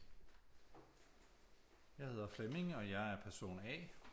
Jeg hedder Flemming og jeg er person A